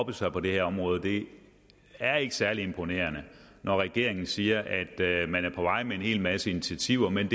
oppe sig på det her område det er ikke særlig imponerende når regeringen siger at at man er på vej med en hel masse initiativer men